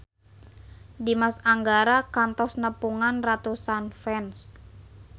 Dimas Anggara kantos nepungan ratusan fans